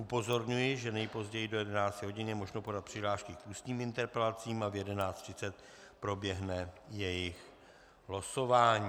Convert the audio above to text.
Upozorňuji, že nejpozději do 11 hodin je možno podat přihlášky k ústním interpelacím a v 11.30 proběhne jejich losování.